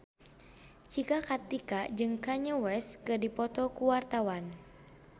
Cika Kartika jeung Kanye West keur dipoto ku wartawan